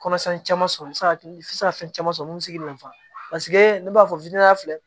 Kɔnɔsan caman sɔrɔ i bɛ se ka fɛn caman sɔrɔ min bɛ se k'i danfa ne b'a fɔ filɛ